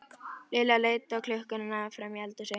Lilla leit á klukkuna frammi í eldhúsi.